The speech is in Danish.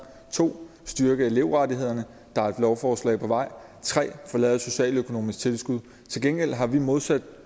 2 at styrke elevrettighederne der er et lovforslag på vej og lavet et socialøkonomisk tilskud til gengæld har vi modsat